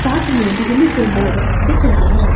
साथ में बिजली के बोर्ड दिख रहे है।